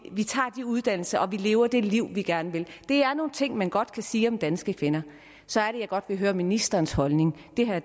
uddannelser og lever det liv vi gerne vil det er nogle ting man godt kan sige om danske kvinder så er det jeg godt vil høre ministerens holdning det her